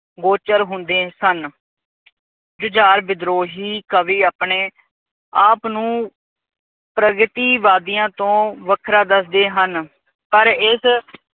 ਗੋਚਰ ਹੁੰਦੇ ਸਨ। ਜੁਝਾਰ ਵਿਧਰੋਹੀ ਕਵੀ ਆਪਣੇ ਆਪ ਨੂੰ ਪ੍ਰਗਤੀਵਾਦੀਆਂ ਤੋਂ ਵੱਖਰਾ ਦੱਸਦੇ ਹਨ। ਪਰ ਇਸ